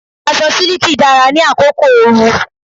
Aṣọ siliki dára ní àkókò òru.